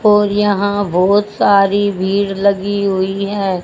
और यहां बहोत सारी भीड़ लगी हुई है।